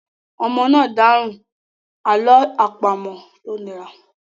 Ọmọ náà dáhùn àlọ́ àpamọ̀ tó nira.